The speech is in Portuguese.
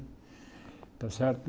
Está certo